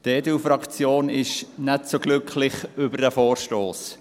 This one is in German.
Die EDU-Fraktion ist nicht so glücklich über diesen Vorstoss.